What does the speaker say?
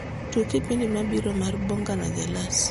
tug kipindi mabiro mar bonga na jalas